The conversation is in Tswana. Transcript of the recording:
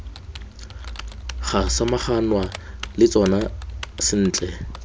ga samaganwa le tsona sentle